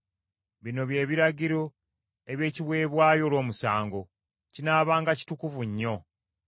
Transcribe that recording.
“ ‘Bino bye biragiro eby’ekiweebwayo olw’omusango; kinaabanga kitukuvu nnyo.